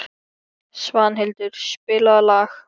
Svanhildur, spilaðu lag.